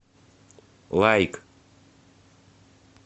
лайк